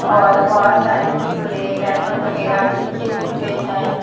और बहुत सारे कुरकुरे रैपर वगैरह फेंके हुए हैं।